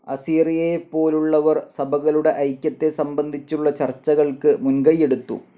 അസീറിയയെപ്പോലുള്ളവർ സഭകളുടെ ഐക്യത്തെ സംബന്ധിച്ചുള്ള ചർച്ചകൾക്ക് മുൻകൈയെടുത്തു.